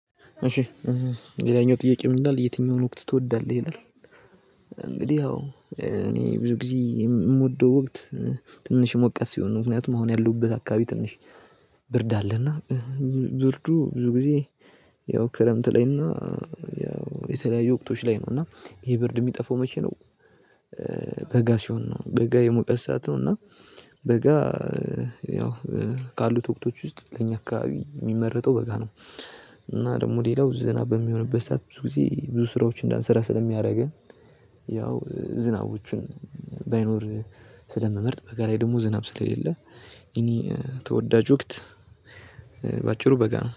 እሺ ሌላኛው ጥያቄ ምንድነው የትኛውን ወቅት ትወዳለህ ይላል። እንግዲህ አዎ እኔ ብዙ ጊዜ የምወደው ወቅት። ትንሽ ሞቃት ሲሆን ምክንያቱም መሆን ያለሁበት አካባቢ ትንሽ ብርድ አለና። ብርዱ ብዙ ጊዜ ያው ክረምት ላይና ያው የተለያዩ ወቅቶች ላይ ነው። እና ይሄ ብርድ የሚጠፋው መቼ ነው? በጋ ሲሆን ነው በጋ የሙቀት ሰዓት ነው። እና በጋ ያው ካሉት ወቅቶች ውስጥ ለኛ አካባቢ የሚመረጠው በጋ ነው። እና ደግሞ ሌላው ዝናብ በሚሆንበት ሰዓት ብዙ ጊዜ ብዙ ስራዎችን እንዳንሰራ ስለሚያደርገን። ያው ዝናቦቹን ባይኖር ስለምመርጥ በጋ ላይ ደግሞ ዝናብ ስለሌለ የኔ ተወዳጅ ወቅት። በአጭሩ በጋ ነው